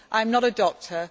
I am not a doctor.